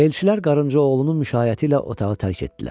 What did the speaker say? Elçilər Qarınca oğlunun müşaiyəti ilə otağı tərk etdilər.